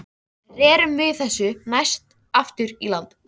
Rerum við þessu næst aftur í land.